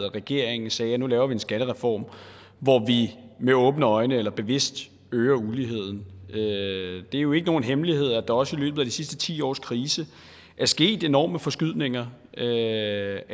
regeringen sagde nu laver vi en skattereform hvor vi med åbne øjne eller bevidst øger uligheden det er jo ikke nogen hemmelighed at der også i løbet af de sidste ti års krise er sket enorme forskydninger af